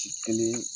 Ci kelen